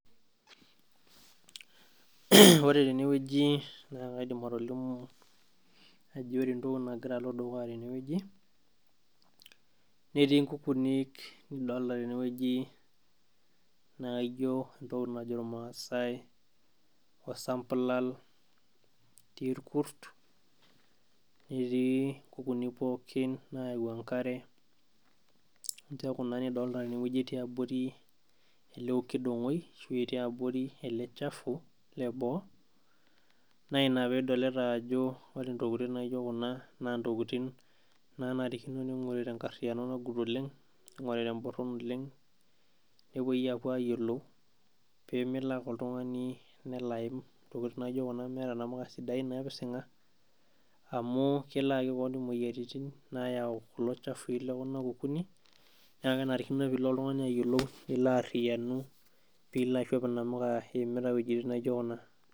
Ore tenewueji nakaidim atolimu ajo ore entoki nagira alo dukuya tene netii nkukunik nidolita tenewueji naa ijo entoki najo irmasaai osampulal, etii irkurs netii nkukuni pookin nayau enkare, ninche kuna nidolita tenewueji etii abori eleokidongoi ashu etii atua eleshafu leboo Naina pidolta ajo ore ntokitin naijo kuna na ntokitin nanarikino ninguri tenkariano nagut olenga ,ningori temboron olengnepuoi apo ayiolou pemelo ake oltungani nelo aim aim meeta namuka sidain napisinga amu kelo ayaki keon moyiaritin nayau ewoi nijo ena, na kenarikino pilo oltungani ayiolou pilo aishop inamuka iimita wuejitin naijo kuna.